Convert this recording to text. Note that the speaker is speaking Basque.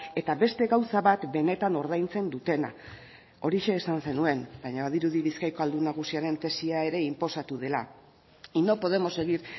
eta beste gauza bat benetan ordaintzen dutena horixe esan zenuen baina badirudi bizkaiko ahaldun nagusiaren tesia ere inposatu dela y no podemos seguir